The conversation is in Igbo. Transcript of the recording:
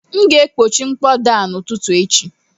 M ga-ekpochi mkpọda a n'ụtụtụ echi